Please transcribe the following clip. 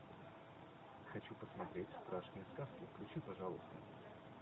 хочу посмотреть страшные сказки включи пожалуйста